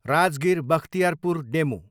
Rajgir, Bakhtiyarpur DEMU